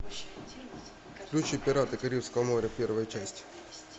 включи пираты карибского моря первая часть